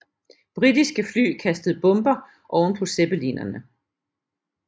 Britiske fly kastede bomber ovenpå zeppelinerne